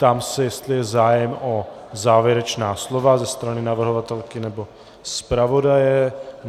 Ptám se, jestli je zájem o závěrečná slova ze strany navrhovatelky nebo zpravodaje.